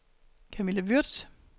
Camilla Würtz